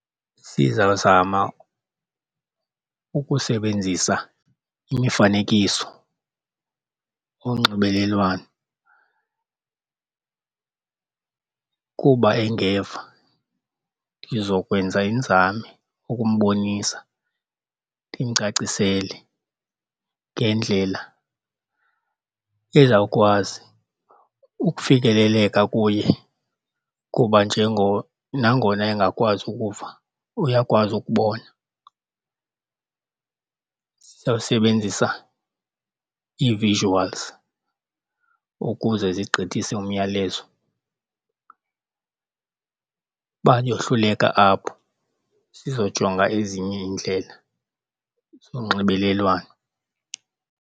Sizawuzama ukusebenzisa imifanekiso onxibelelwano kuba engeva. Ndizokwenza iinzame ukumbonisa ndimcacisele ngendlela ezawukwazi ukufikeleleka kuye kuba nangona engakwazi ukuva, uyakwazi ukubona. Sizawusebenzisa ii-visuals ukuze zigqithise umyalezo. Uba uyohluleka apho sizojonga ezinye iindlela zonxibelelwano.